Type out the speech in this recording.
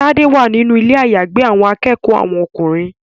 Tade wá nínú Ilé àyágbé àwọn akẹ́kọ̀ọ́ àwọn ọkùnrin.